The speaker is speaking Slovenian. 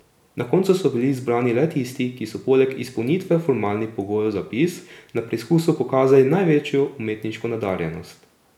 Na koncu so bili izbrani le tisti, ki so poleg izpolnitve formalnih pogojev za vpis na preizkusu pokazali največjo umetniško nadarjenost.